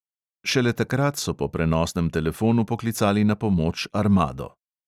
Šele takrat so po prenosnem telefonu poklicali na pomoč armado.